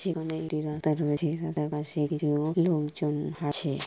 সেখানে একটি রাস্তা রয়েছে। রাস্তা পাশে কিছু লোকজন আছে ।